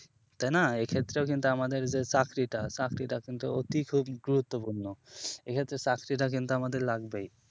তাই না এ ক্ষেত্রেও কিন্তু আমাদের যে চাকরি টা চাকরি টা অতি খুব গুরুত্বপূর্ণ এ ক্ষেত্রে চাকরিটা আমাদের লাগবেই